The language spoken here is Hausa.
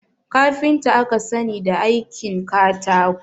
Kafinta aka sani da aikin katako